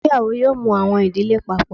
Ìgbéyàwó yóò mú awọn idile Pápọ